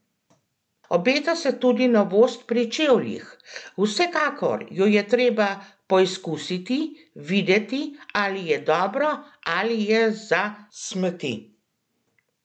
Obeta se tudi novost pri čevljih: "Vsekakor jo je treba poizkusiti, videti, ali je dobro ali je za smeti.